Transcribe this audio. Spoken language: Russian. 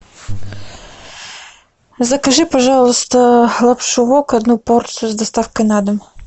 закажи пожалуйста лапшу вок одну порцию с доставкой на дом